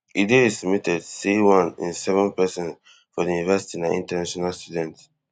e dey estimated say one in seven pesins for di university na international students